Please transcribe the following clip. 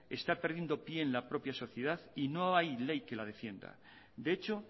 está perdiendo pie en la propia sociedad y no hay ley que la defienda de hecho